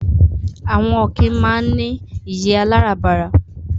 Àwọn ọ̀kín máa ń ní ìyé aláràbarà